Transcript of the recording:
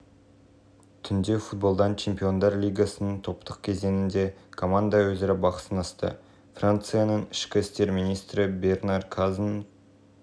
бойынша он үздік боксшы мыналар геннадий головкин роман гонсалес андре уорд сергей ковалв василий ломаченко мэнни пакьяо теренс кроуфорд синсукэ яманака